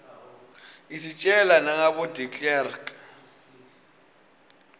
isitjela nagabo deklerek